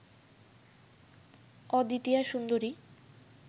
অদ্বিতীয়া সুন্দরী